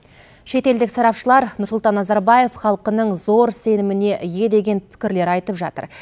шетелдік сарапшылар нұрсұлтан назарбаев халқының зор сеніміне ие деген пікірлер айтып жатыр